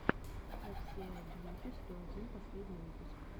эр си эл бьюти сто один последний выпуск